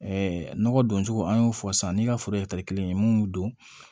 nɔgɔ don cogo an y'o fɔ sisan ni ka foro kelen ye mun don